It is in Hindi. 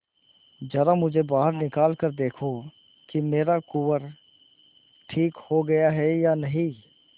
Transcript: जरा मुझे बाहर निकाल कर देखो कि मेरा कुंवर ठीक हो गया है या नहीं